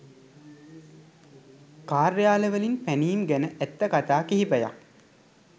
කාර්යාල වලින් පැනීම් ගැන ඇත්ත කතා කිහිපයක්